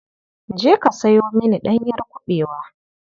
Je ka sayo mini ɗanyar kuɓewa.